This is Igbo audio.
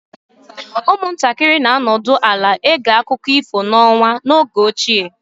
Ụmụntakịrị na-anọdụ ala ege akụkọ ifo n'ọnwa n'oge ochie